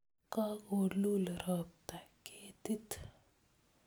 Kokolul ropta ketit